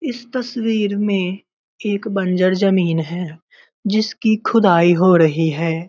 इस तस्वीर में एक बंजर जमीन है जिसकी खुदाई हो रही है।